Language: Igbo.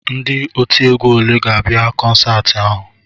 Ndị otiegwu olee ga-abịa kọnsaati ahụ?